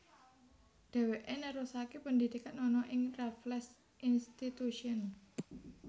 Dheweke nerusake pendidikan ana ing Raffles Institution